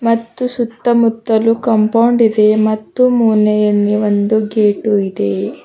ಮತ್ತು ಸುತ್ತ ಮುತ್ತಲು ಕಾಂಪೌಂಡ್ ಇದೆ ಮತ್ತು ಮುನೇಯನ್ನಿ ಒಂದು ಗೇಟು ಇದೆ.